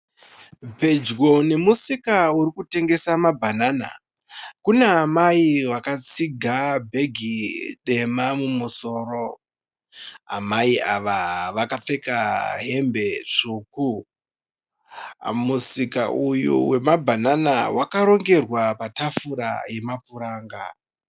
Pedyo nemusika urikutengesa mabhanana. Kuna amai vakatsiga bhegi dema mumusoro. Amai ava vakapfeka hembe tsvuku. Musika uyu wemabhanana wakarongerwa patafura yemapuranga.